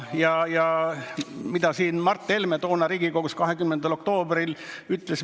Aga mida Mart Helme toona Riigikogus 20. oktoobril ütles?